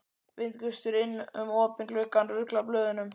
Vindgustur inn um opinn glugganum ruglar blöðunum.